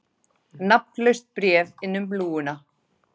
Nafnlaust bréf inn um lúguna